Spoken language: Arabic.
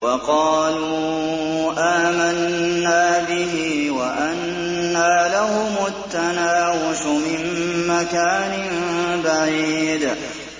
وَقَالُوا آمَنَّا بِهِ وَأَنَّىٰ لَهُمُ التَّنَاوُشُ مِن مَّكَانٍ بَعِيدٍ